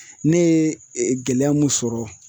Ne ye gɛlɛya mun sɔrɔ